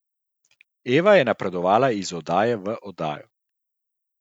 Eva je napredovala iz oddaje v oddajo.